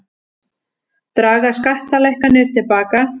Draga skattalækkanir til baka